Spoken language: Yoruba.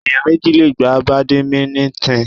Ẹ̀yàn méjì le gbá Bàdìmínítìn.